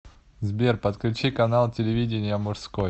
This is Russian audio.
сбер подключи канал телевидения мужской